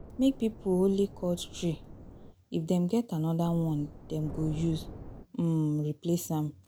Make pipo only cut tree if dem get anodir one dem go use um replace am